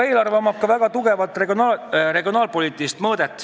Eelarvel on ka selge regionaalpoliitiline mõõde.